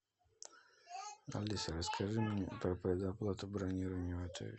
алиса расскажи мне про предоплату бронирования в отеле